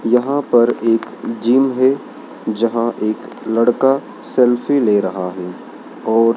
यहां पर एक जिम है जहां एक लड़का सेल्फी ले रहा है और--